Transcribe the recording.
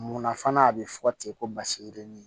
Munna fana a bɛ fɔ ten ko basi yirinin